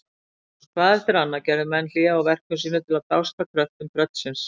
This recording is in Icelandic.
Hvað eftir annað gerðu menn hlé á verkum sínum til að dást að kröftum tröllsins.